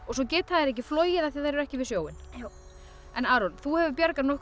svo geta þær ekki flogið af því þær eru ekki við sjóinn já en Aron þú hefur bjargað nokkrum